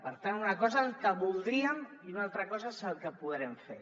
per tant una cosa és el que voldríem i una altra cosa és el que podrem fer